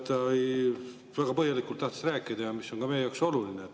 Ta väga põhjalikult tahtis rääkida ja see oleks olnud ka meie jaoks oluline.